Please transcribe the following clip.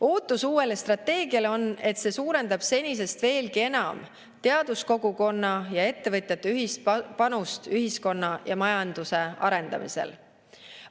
Ootus uuele strateegiale on, et see suurendab senisest veelgi enam teaduskogukonna ja ettevõtjate ühist panust ühiskonna ja majanduse arendamisel.